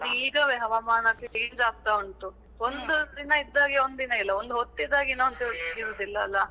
ಅದೇ ಈಗವೇ ಹವಾಮಾನಸ change ಆಗ್ತಾ ಉಂಟು. ಒಂದು ದಿನ ಇದ್ದಾಗೆ ಒಂದು ದಿನ ಇಲ್ಲ, ಒಂದು ಹೊತ್ತಿದ್ದಾಗೆ ಇನ್ನೊಂದು ಹೊತ್ತು ಇರುದಿಲ್ಲ ಅಲ್ಲಾ